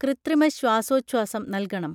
കൃത്രിമ ശ്വാസോഛ്വാസം നൽകണം